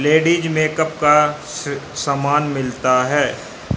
Ladies makeup का स सामान मिलता है।